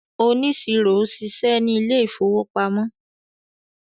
oniṣiro ṣiṣẹ ní Ilé ìfowópamọ́